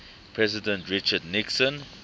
president richard nixon